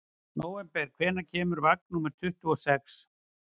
Nóvember, hvenær kemur vagn númer tuttugu og sex?